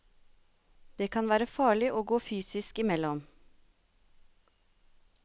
Det kan være farlig å gå fysisk imellom.